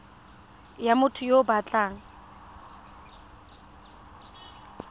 ya motho yo o batlang